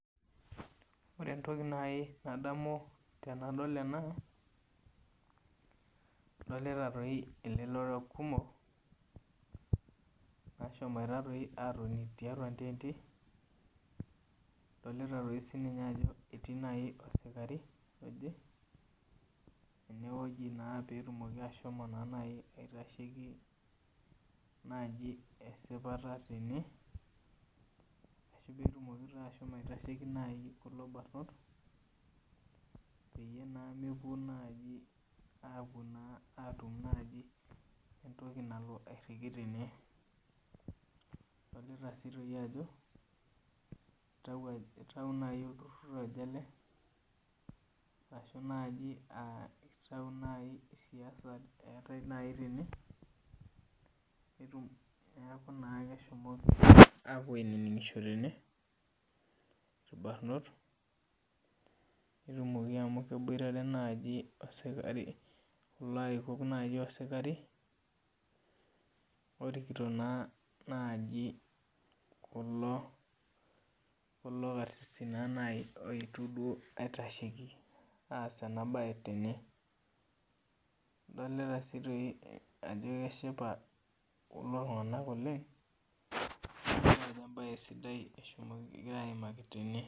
Ore entoki nadamu tanadol ena adolita elelero kumok nashomo atoni tiatua ntenti adolta ajo etii osikarii petumoki ashomo aitasheki esiapata tene kulo barnot peyie mepuo naibatum nai entoki nalo airiki tene adolta ajo itau nai olturur ele ashi itau nai siasa eetae tene netum neaku na keshomoko apuo aininingo tene orbarnot netumoki amu keetai nai osikarii orkito nai naji kulo karisis oetuo duo aponu aitasheki enabae tene adolta si toi ajo keshipa kulo tunganak oleng amu embae sidai egira aimaki tene.